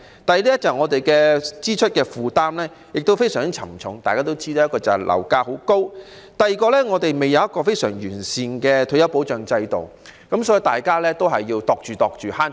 第二，我們的支出負擔非常沉重，其中一個原因是樓價高企，而另一個原因是香港尚未有非常完善的退休保障制度，所以大家都要謹慎地花費。